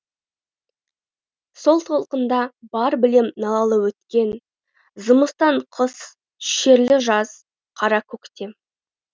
сол толқында бар білем налалы өткен зымыстан қыс шерлі жаз қара көктем